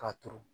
K'a turu